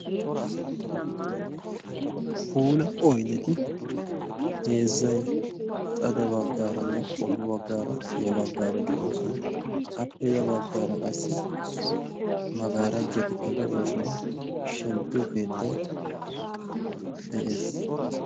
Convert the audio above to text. puula oydeti heezay xade bagaaranne ya bagaara xe'oosona. appe ya bagaara qassi magarajkati de'oosona. shempiyo keettay de'ees.